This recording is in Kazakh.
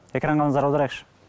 экранға назар аударайықшы